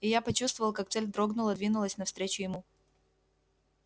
и я почувствовал как цель дрогнула двинулась навстречу ему